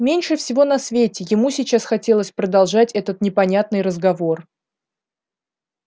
меньше всего на свете ему сейчас хотелось продолжать этот непонятный разговор